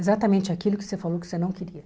Exatamente aquilo que você falou que você não queria.